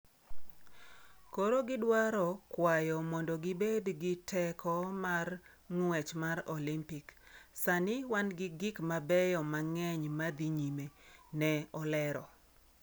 Koro gidwaro kwayo mondo gibed gi teko mar ng’wech mar Olympic, sani wan gi gik mabeyo mang’eny ma dhi nyime,'' ne olero.